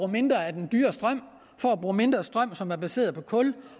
mindre af den dyre strøm for at bruge mindre strøm som er baseret på kul